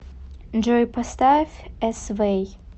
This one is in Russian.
джой поставь эсвэй